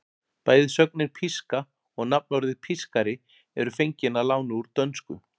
Bæði sögnin píska og nafnorðið pískari eru fengin að láni úr dönsku.